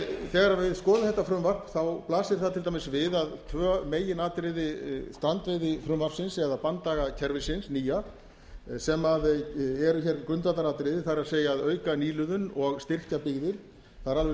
þegar við skoðum þetta frumvarp þá blasir það til dæmis við að tvö meginatriði strandveiðifrumvarpsins eða banndagakerfisins nýja sem eru hér grundvallaratriði það er að auka nýliðun og styrkja byggðir það er alveg